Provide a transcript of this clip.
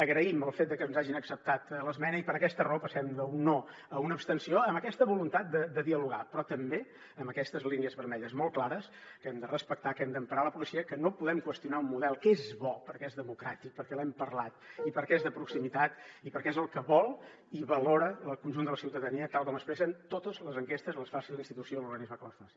agraïm el fet de que ens hagin acceptat l’esmena i per aquesta raó passem d’un no a una abstenció amb aquesta voluntat de dialogar però també amb aquestes línies vermelles molt clares que hem de respectar que hem d’emparar la policia que no podem qüestionar un model que és bo perquè és democràtic perquè l’hem parlat i perquè és de proximitat i perquè és el que vol i valora el conjunt de la ciutadania tal com expressen totes les enquestes les faci la institució o l’organisme que les faci